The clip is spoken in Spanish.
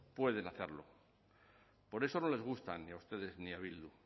pueden hacerlo por eso no les gusta ni a ustedes ni a bildu